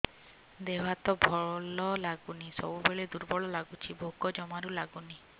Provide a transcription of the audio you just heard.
ଦେହ ହାତ ଭଲ ଲାଗୁନି ସବୁବେଳେ ଦୁର୍ବଳ ଲାଗୁଛି ଭୋକ ଜମାରୁ ଲାଗୁନି